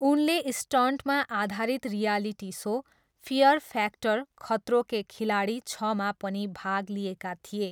उनले स्टन्टमा आधारित reality show fear factor, Khatron Ke Khiladi छमा पनि भाग लिएका थिए।